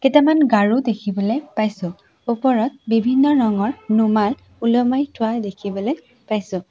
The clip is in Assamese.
কেইটামান গাৰু দেখিবলৈ পাইছোঁ ওপৰত বিভিন্ন ৰঙৰ ৰুমাল ওলোমাই থোৱা দেখিবলৈ পাইছোঁ।